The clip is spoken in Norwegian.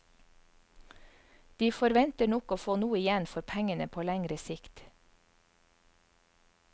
De forventer nok å få noe igjen for pengene på lengre sikt.